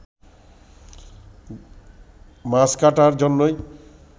মাছ কাটার জন্যই